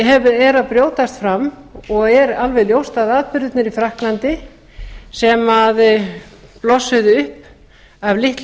er að brjótast fram og er alveg ljóst að atburðirnir í frakklandi sem blossuðu upp af litlum